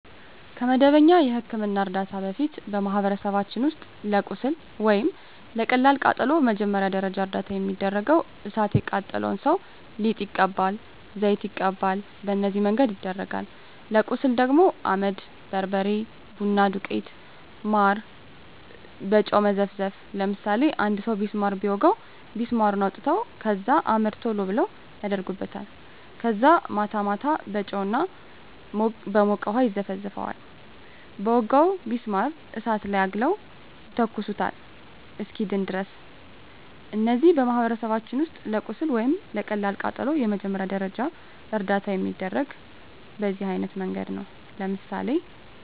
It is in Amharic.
ከመደበኛ የሕክምና ዕርዳታ በፊት፣ በማኅበረሰባችን ውስጥ ለቁስል ወይም ለቀላል ቃጠሎ መጀመሪያ ደረጃ እርዳታ የሚደረገው እሣት የቃጠለው ሠው ሊጥ ይቀባል፤ ዘይት ይቀባል፤ በነዚህ መንገድ ይደረጋል። ለቁስል ደግሞ አመድ፤ በርበሬ፤ ቡና ዱቄት፤ ማር፤ በጨው መዘፍዘፍ፤ ለምሳሌ አንድ ሠው ቢስማር ቢወጋው ቢስማሩን አውጥተው ከዛ አመድ ቶሎ ብለው አደርጉበታል ከዛ ማታ ማታ በጨው እና በሞቀ ውሀ ይዘፈዝፈዋል በወጋው ቢስማር እሳት ላይ አግለው ይተኩሱታል እስኪድን ድረስ። እነዚህ በማኅበረሰባችን ውስጥ ለቁስል ወይም ለቀላል ቃጠሎ መጀመሪያ ደረጃ እርዳታ የሚደረገው በዚህ አይነት መንገድ ነው። ለምሳሌ